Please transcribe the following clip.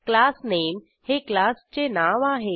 class नामे हे क्लासचे नाव आहे